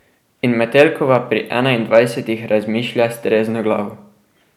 In Metelkova pri enaindvajsetih razmišlja s trezno glavo.